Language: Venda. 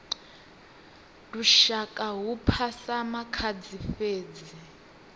lushaka hu phasa makhadzi fhedzi